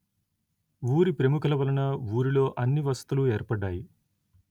ఊరి ప్రముఖుల వలన ఊరిలో అన్ని వసతులు ఏర్పడ్డాయి